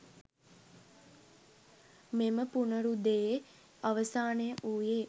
මෙම පුනරුදයේ අවසානය වූයේ